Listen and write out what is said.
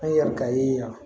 An ye yalikali